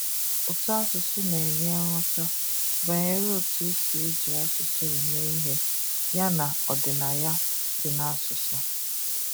Ụtọasụsụ na-enye nghọta banyere otu e si eji asụsụ eme ihe yana ọdịnaya dị n'asụsụ.